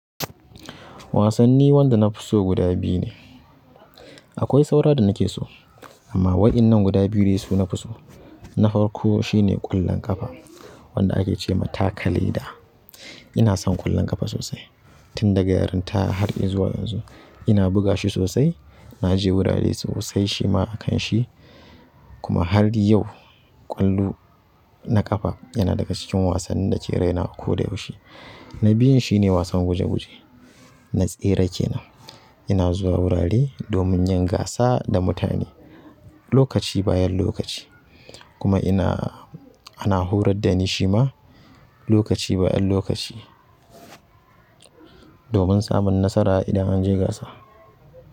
Wasanni wanda nafi so guda biyu ne. Akwai saura da na ke so amma wa'innan guda biyu dai su nafi so. Na farko shine ƙwallon ƙafa wanda ake ce ma takaleda. Ina son ƙwallon ƙafa sosai tun daga yarinta har yanzu. Ina buga shi sosai. Na je wurare sosai shi ma a kan shi kuma har yau ƙwallo na ƙafa yana daga cikin wasannin dake rai na a koda yaushe na biyun shine wasan guje guje. Na tsere ke nan. Ina zuwa wurare domin yin gasa da mutane lokaci bayan lokaci kuma ina, ana horar da ni shi ma lokaci bayan lokaci domin samun nasara idan an je gasa.